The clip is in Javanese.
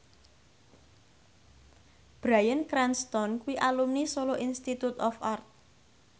Bryan Cranston kuwi alumni Solo Institute of Art